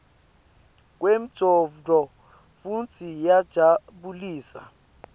kwemcondvo futsi iyajabulisa